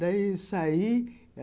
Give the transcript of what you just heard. Daí saí.